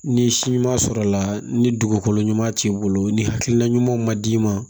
Ni si ɲuman sɔrɔla ni dugukolo ɲuman t'i bolo ni hakilina ɲuman ma d'i ma